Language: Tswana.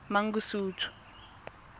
mangosuthu